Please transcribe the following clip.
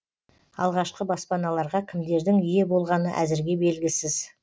алғашқы баспаналарға кімдердің ие болғаны әзірге белгісіз